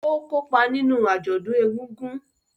Ó kópa nínú àjọ̀dún ègùngùn